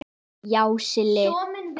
Já, Silli.